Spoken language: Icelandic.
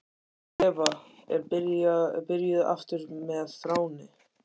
Eva er byrjuð aftur með Þráni.